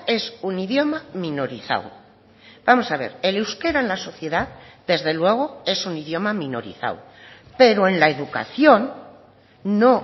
es un idioma minorizado vamos a ver el euskera en la sociedad desde luego es un idioma minorizado pero en la educación no